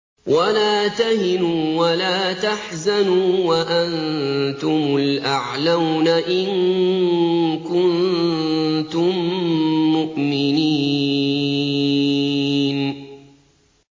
وَلَا تَهِنُوا وَلَا تَحْزَنُوا وَأَنتُمُ الْأَعْلَوْنَ إِن كُنتُم مُّؤْمِنِينَ